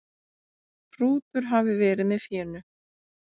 Hrútur hafi verið með fénu.